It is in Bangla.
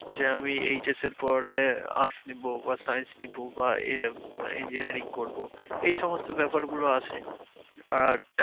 যে আমি HS এর পরে arts নিবো বা science নিবো বা এ engineering করবো এই সমস্ত ব্যাপারগুলো আসে। আর